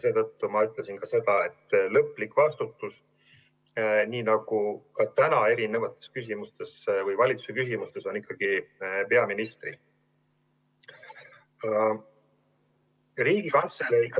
Seetõttu ma ütlesin ka seda, et lõplik vastutus, nii nagu ka praegu erinevates valitsuse küsimustes, on ikkagi peaministril.